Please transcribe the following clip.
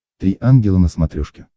три ангела на смотрешке